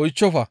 oychchofa.